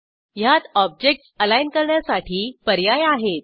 ह्यात objects align करण्यासाठी पर्याय आहेत